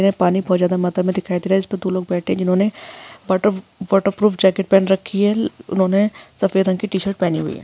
पानी बहुत ज्यादा मात्रा में दिखाई दे रहा है इसपे दो लोग बैठे जिन्होंने वॉटरप्रू वॉटरप्रूफ जैकेट पहन रखी है ल उन्होने सफ़ेद रंग की टी-शर्ट पहनी हुयी है।